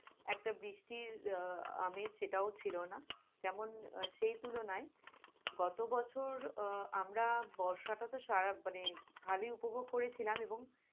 একটা বৃষ্টির আমেজ সেটাও ছিল না যেমন সেই তুলনায় গত বছর আহ আমরা বর্ষাটা তো সারা মানে ভারী উপভোগ করেছিলাম এবং